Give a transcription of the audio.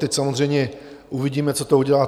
Teď samozřejmě uvidíme, co to udělá.